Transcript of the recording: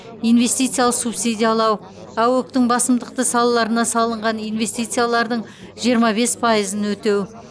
инвестициялық субсидиялау аөк тің басымдықты салаларына салынған инвестициялардың жиырма бес пайызын өтеу